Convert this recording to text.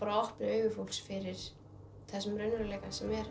opni augu fólks fyrir þessum raunveruleika sem er